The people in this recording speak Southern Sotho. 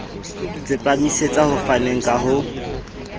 tsepamisetsa ho faneng ka ho